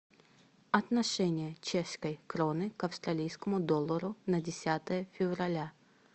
отношение чешской кроны к австралийскому доллару на десятое февраля